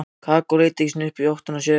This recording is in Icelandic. Kókó leit ekki einu sinni í áttina að mér.